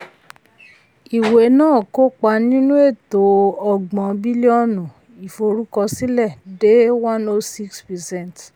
ìwé náà kópa nínú eto ọgbọ̀n bílíọ̀nù ìforúkọsílẹ̀ de one o six percent.